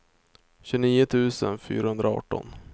tjugonio tusen fyrahundraarton